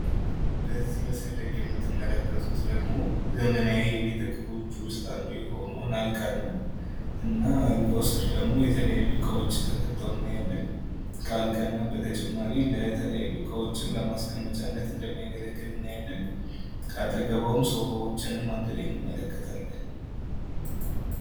በዚህ መስል ላይ የምትመለከቱት ደግሞ ዘመናዊ የበት እቃዎች ውስጥ አንዱ የሆነውንና አልጋን ነው። እና አልጋው ስር ደግሞ የተለያዩ እቃዎች ተከተው እናያለን ከአልጋነት በተጨማሪ ለተለያዩ እቃዎችን ለማስቀመጫለት እንደሚያገለግልን እናያለን ከጠግቡም ሶፋዎችን አንድ ላይ እንመለከታለን።